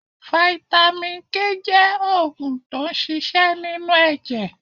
Vitamin K jẹ́ oògùn tó n ṣiṣẹ́ nínú ẹ̀jẹ̀